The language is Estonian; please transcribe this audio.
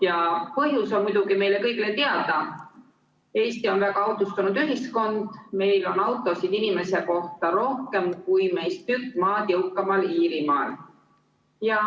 Ja põhjus on muidugi meile kõigile teada: Eesti on väga autostunud ühiskond, meil on autosid inimese kohta rohkem kui meist tükk maad jõukamal Iirimaal.